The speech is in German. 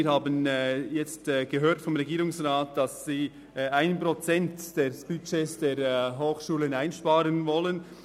Wir haben vom Regierungsrat gehört, dass man während eines Jahres 1 Prozent des Budgets der Hochschulen einsparen will.